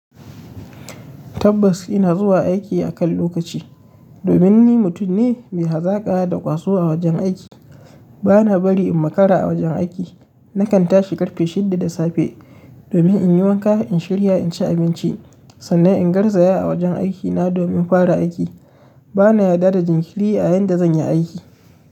Tabbas ina zuwa aiki akan lokaci. Domin ni mutum ne mai hazaƙa da ƙwaso a wajen aiki. Bana bari in makara a wajen aiki. Nakan tashi ƙarfe shidda da safe domin in yi wanka, in shirya, in ci abinci sannan in garsa ya a wajen aikina domin fara aiki. Bana yarda da jinkiri a yanda zan yi aiki.